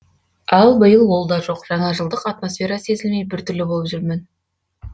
ал биыл ол да жоқ жаңа жылдық атмосфера сезілмей бір түрлі болып жүрдім